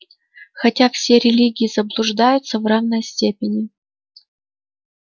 хотя все религии заблуждаются в равной степени